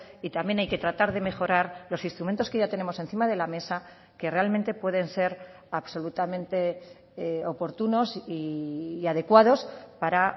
y también hay que tratar de mejorar los instrumentos que ya tenemos encima de la mesa que realmente pueden ser absolutamente oportunos y adecuados para